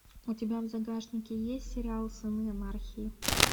у тебя в загашнике есть сериал сыны анархии